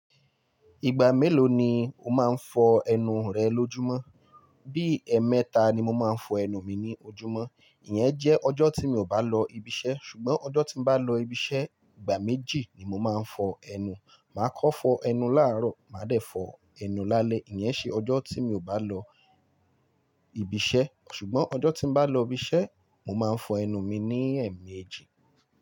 Ìgbà mélòó ni o máa ń fọ ẹnu rẹ lójúmọ́? Bí i ẹmẹta ni mo máa ń fọ ẹnu mi ní ojúmọ́. Iyẹn jẹ́ ọjọ́ tí mi ò bá lọ ibi iṣẹ́. Ṣùgbọ́n ọjọ́ tí bá lọ ibi iṣẹ́, ìgbà méjì ni mo máa ń fọ ẹnu. Mà á kọ́ fọ ẹnu láàárọ̀, mà á dẹ̀ fọ ẹnu lálẹ́. Iyẹn ṣe ọjọ́ tí mi ò bá lọ ibi iṣẹ́. Ṣùgbọ́n ọjọ́ tí bá lọ ibi iṣẹ́, mo máa ń fọ ẹnu mi ní ẹ̀ẹ̀mẹjì.